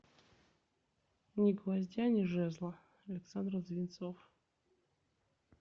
ни гвоздя ни жезла александр звинцов